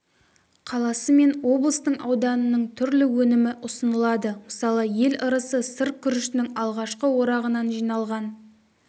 қаласы мен облыстың ауданының түрлі өнімі ұсынылады мысалы ел ырысы сыр күрішінің алғашқы орағынан жиналған